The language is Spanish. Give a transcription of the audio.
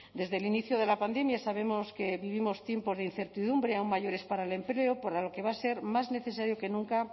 desde el inicio de la pandemia sabemos que vivimos tiempos de incertidumbre aún mayores para el empleo para lo que va a ser más necesario que nunca